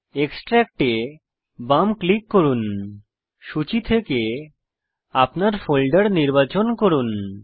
extract এ বাম click করুন সূচী থেকে আপনার ফোল্ডার নির্বাচন করুন